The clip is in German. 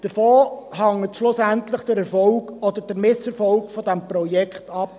–Davon hängt schlussendlich der Erfolg oder der Misserfolg des Projekts ab.